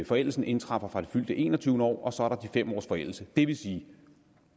forældelsen indtræffer fra det fyldte enogtyvende år og så er der de fem års forældelse det vil sige